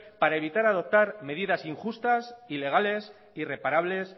para evitar adoptar medidas injustas ilegales irreparables